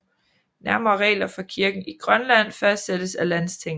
Nærmere regler for kirken i Grønland fastsættes af landstinget